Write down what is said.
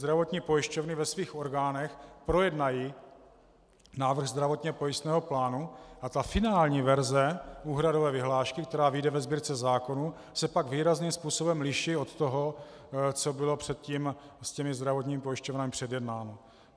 Zdravotní pojišťovny ve svých orgánech projednají návrh zdravotně pojistného plánu a ta finální verze úhradové vyhlášky, která vyjde ve Sbírce zákonů, se pak výrazným způsobem liší od toho, co bylo předtím s těmi zdravotními pojišťovnami předjednáno.